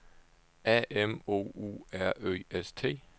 A M O U R Ø S T